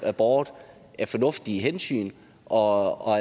båret af fornuftige hensyn og